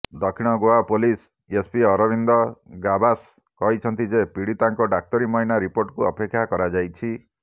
ଦକ୍ଷିଣ Goa police SP Arvind Gawas କହିଛନ୍ତି ଯେ ପୀଡ଼ିତାଙ୍କ ଡାକ୍ତରୀ ମାଇନା ରିପୋର୍ଟକୁ ଅପେକ୍ଷା କରାଯାଇଛି